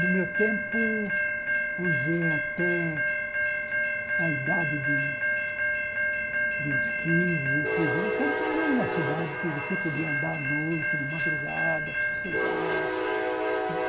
No meu tempo, vamos dizer, até a idade de uns quinze, dezesseis anos, São Paulo era uma cidade que você podia andar à noite, de madrugada, sossegado.